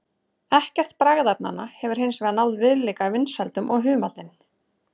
Ekkert bragðefnanna hefur hins vegar náð viðlíka vinsældum og humallinn.